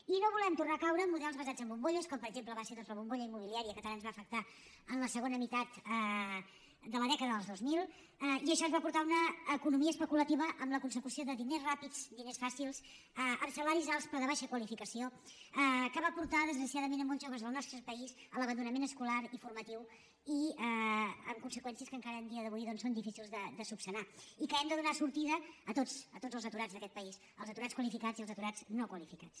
i no volem tornar a caure en models basats en bombolles com per exemple va ser la bombolla immobiliària que tant ens va afectar en la segona meitat de la dècada dels dos mil i això ens va portar a una economia especulativa amb la consecució de diners ràpids diners fàcils amb salaris alts però de baixa qualificació que va portar desgraciadament molts joves del nostre país a l’abandonament escolar i formatiu i amb conseqüències que encara a dia d’avui doncs són difícils de resoldre i hem de donar sortida a tots a tots els aturats d’aquest país als aturats qualificats i als aturats no qualificats